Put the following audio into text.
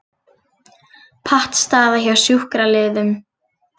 Pattstaða hjá sjúkraliðum